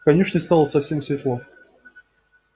в конюшне стало совсем светло